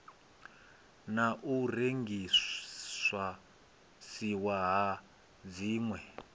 na u rengisiwa ha dzinwe